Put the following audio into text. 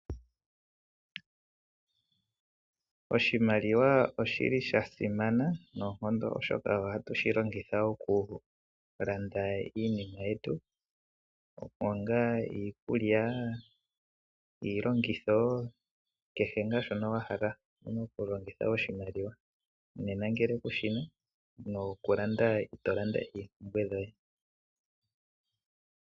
Oshimaliwa oshili sha simana noonkondo oshoka ohatushi longitha oku landa iinima yetu ngaashi iikulya, iilongitho kehe nga shono wa hala owuna okulongitha oshimaliwa nena ngele kushina nokulanda ito landa oompumbwe dhoye.